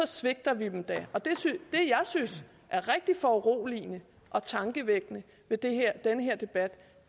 svigter vi dem det jeg synes er rigtig foruroligende og tankevækkende ved den her debat